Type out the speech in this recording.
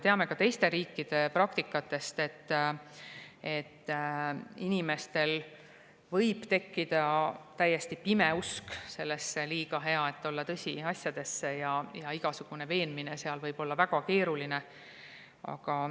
Teame ka teiste riikide praktikast, et inimestel võib tekkida täiesti pime usk sellistesse liiga-hea-et-olla-tõsi-asjadesse ja igasugune veenmine seal võib olla väga keeruline.